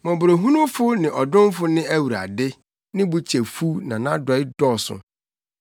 Mmɔborɔhunufo ne ɔdomfo ne Awurade, ne bo kyɛ fuw na nʼadɔe dɔɔso.